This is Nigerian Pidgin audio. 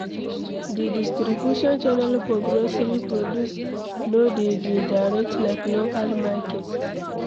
Di distribution channel for grocery produce no de dey direct like local market